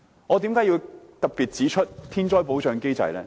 我為何要特別提及天災保障機制？